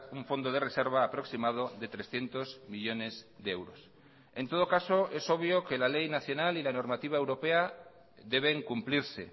un fondo de reserva aproximado de trescientos millónes de euros en todo caso es obvio que la ley nacional y la normativa europea deben cumplirse